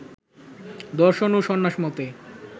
দর্শন ও সন্ন্যাস মতে